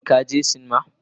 Shin ka je sinima